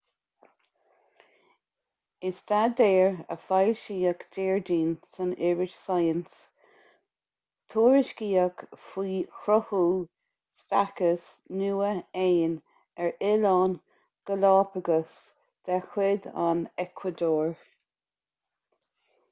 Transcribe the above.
i staidéar a foilsíodh déardaoin san iris science tuairiscíodh faoi chruthú speiceas nua éin ar oileáin galápagos de chuid an eacuadór